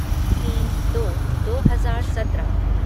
तीन दो दो हजार सत्रह